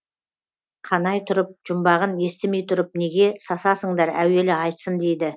қанай тұрып жұмбағын естімей тұрып неге сасасыңдар әуелі айтсын дейді